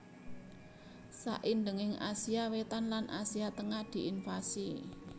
Saindhenging Asia Wétan lan Asia Tengah diinvasi